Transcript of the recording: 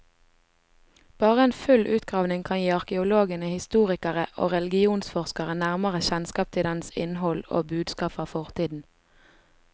Bare en full utgravning kan gi arkeologene, historikere og religionsforskere nærmere kjennskap til dens innhold og budskap fra fortiden.